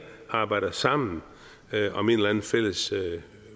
arbejder sammen om en eller anden fælles